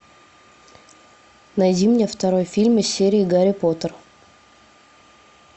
найди мне второй фильм из серии гарри поттер